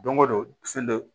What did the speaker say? Don o don fɛn dɔ